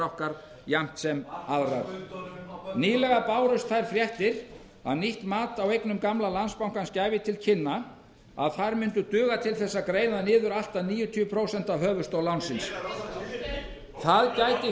þessari niðurstöðu sé þess virði nýlega bárust þær fréttir að nýtt mat á eignum gamla landsbankans gefi til kynna að þær muni duga til þess að greiða niður allt að níutíu prósent af höfuðstól lánsins það gæti